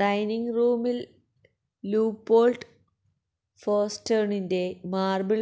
dining റൂമിൽ Leopold ഫോസ്റ്റേർണിന്റെ marble